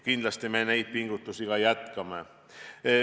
Kindlasti me neid pingutusi ka jätkame.